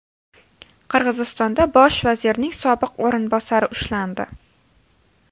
Qirg‘izistonda bosh vazirning sobiq o‘rinbosari ushlandi.